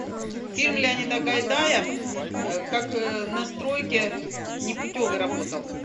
фильм леонида гайдая как на стройке непутевый работал